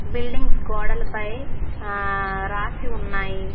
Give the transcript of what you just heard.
Buildings గోడలపై ఆ రాసి ఉన్నాయి.